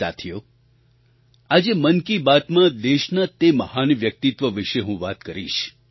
સાથીઓ આજે મન કી બાતમાં દેશના તે મહાન વ્યક્તિત્વ વિશે હું વાત કરીશ